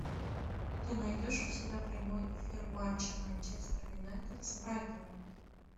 ты найдешь у себя прямой эфир матча манчестер юнайтед с брайтоном